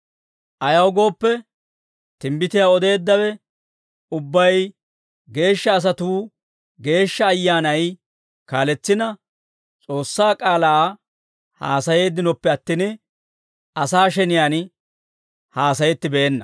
Ayaw gooppe, timbbitiyaa odeeddawe ubbay geeshsha asatuu Geeshsha Ayyaanay kaaletsina, S'oossaa k'aalaa haasayeeddinoppe attin, asaa sheniyaan haasayettibeenna.